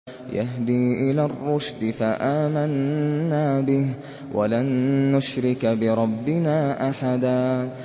يَهْدِي إِلَى الرُّشْدِ فَآمَنَّا بِهِ ۖ وَلَن نُّشْرِكَ بِرَبِّنَا أَحَدًا